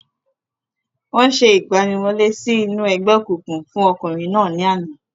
Wọ́n ṣe ìgbaniwọlé sí inú ẹgbẹ́ òkùnkùn fún ọkùnrin náà ní àná.